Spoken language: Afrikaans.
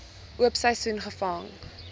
oop seisoen gevang